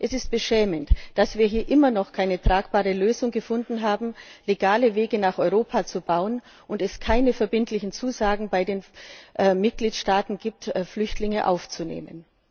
Es ist beschämend, dass wir hier immer noch keine tragbare Lösung gefunden haben, legale Wege nach Europa zu bauen, und es keine verbindlichen Zusagen bei den Mitgliedstaaten gibt, Flüchtlinge aufzunehmen.